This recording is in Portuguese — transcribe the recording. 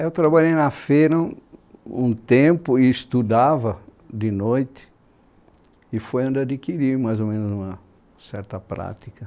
Eu trabalhei na feira um tempo e estudava de noite e foi onde adquiri mais ou menos uma certa prática.